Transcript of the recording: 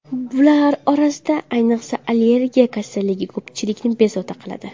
Bular orasida, ayniqsa, allergiya kasalligi ko‘pchilikni bezovta qiladi.